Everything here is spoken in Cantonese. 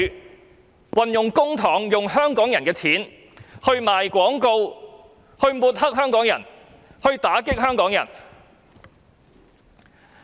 政府運用公帑、運用香港人的錢製作宣傳短片抹黑香港人、打擊香港人。